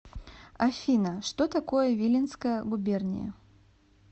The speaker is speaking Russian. афина что такое виленская губерния